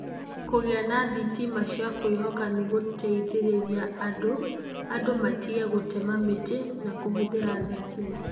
Kũgĩa na thitima cia kwivoka nĩgutithiriria andu andũ matige gũtema mĩtĩ na kũhũthĩra thitima".